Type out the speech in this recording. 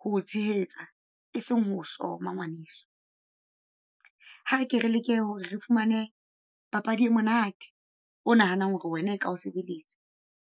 ho o tshehetsa, e seng ho o soma ngwaneso. Ha re ke re leke hore re fumane papadi e monate. O nahanang hore wena ka ho sebeletsa.